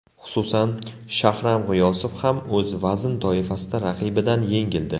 Xususan, Shahram G‘iyosov ham o‘z vazn toifasida raqibidan yengildi.